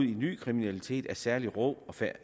i ny kriminalitet af særlig rå